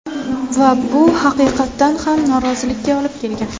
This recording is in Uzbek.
Va bu haqiqatan ham norozilikka olib kelgan.